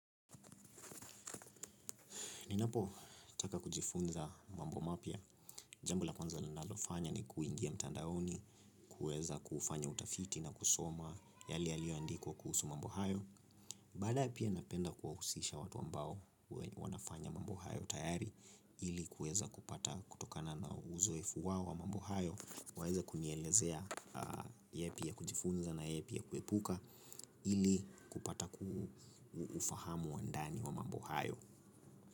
Ninapotaka kujifunza mambo mapya. Jambo la kwanza ninalofanya ni kuingia mtandaoni kuweza kufanya utafiti na kusoma yale yaliyoandikwa kuhusu mambo hayo. Baadaye pia napenda kuwahusisha watu ambao wanafanya mambo hayo tayari ili kuweza kupata kutokana na uzoefu wao wa mambo hayo. Waweze kunielezea yapi ya kujifunza na yapi ya kuepuka ili kupata ufahamu wa ndani wa mambo hayo.